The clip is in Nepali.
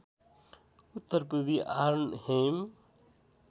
उत्तर पूर्वी आर्नहेम